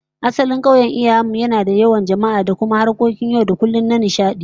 Asalin kauyen iyayen mu yana da yawan jama'a da kuma harkokin yau da kullum da nishadi